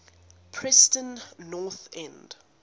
preston north end